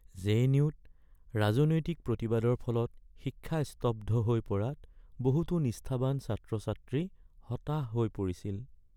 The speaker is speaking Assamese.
জে.এন.ইউ.-ত ৰাজনৈতিক প্ৰতিবাদৰ ফলত শিক্ষা স্তব্ধ হৈ পৰাত বহু নিষ্ঠাৱান ছাত্ৰ-ছাত্ৰী হতাশ হৈ পৰিছিল।